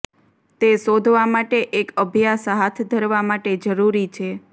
તે શોધવા માટે એક અભ્યાસ હાથ ધરવા માટે જરૂરી છે